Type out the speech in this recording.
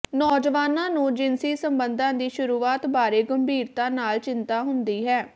ਨੌਜਵਾਨਾਂ ਨੂੰ ਜਿਨਸੀ ਸਬੰਧਾਂ ਦੀ ਸ਼ੁਰੂਆਤ ਬਾਰੇ ਗੰਭੀਰਤਾ ਨਾਲ ਚਿੰਤਾ ਹੁੰਦੀ ਹੈ